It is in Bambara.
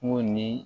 Ŋoo nii